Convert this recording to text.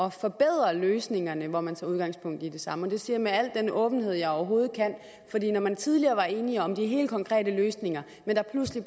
at forbedre løsningerne hvor man tager udgangspunkt i det samme det siger jeg med al den åbenhed jeg overhovedet kan fordi når man tidligere var enige om de helt konkrete løsninger men der pludselig